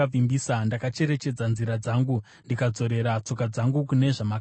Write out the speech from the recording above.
Ndakacherechedza nzira dzangu ndikadzorera tsoka dzangu kune zvamakatema.